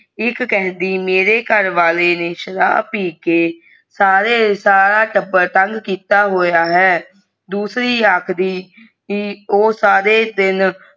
ਇਕ ਕਹਿੰਦੀ ਮੇਰੇ ਘਰ ਵਾਲੇ ਨੇ ਸ਼ਰਾਬ ਪੀ ਕੇ ਸਾਰੇ ਸਾਰਾ ਟੱਬਰ ਤੰਗ ਕੀਤਾ ਹੋਇਆ ਹੈ ਦੂਸਰੀ ਆਖਦੀ ਕਿ ਊ ਸਾਰੇ ਦਿਨ